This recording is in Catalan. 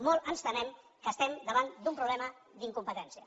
molt ens temem que estem davant d’un problema d’incom petència